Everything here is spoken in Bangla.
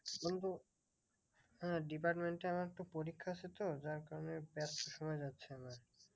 বন্ধু হ্যাঁ department এ আমার তো পরীক্ষা ছিল যার কারণে ব্যস্ত সময় যাচ্ছে না।